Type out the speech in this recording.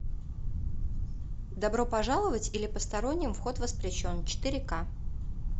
добро пожаловать или посторонним вход воспрещен четыре ка